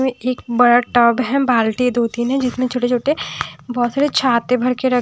एक बड़ा टब है बाल्टी दो तीन हैं जिसमें छोटे छोटे बहुत सारे छाते भर के र--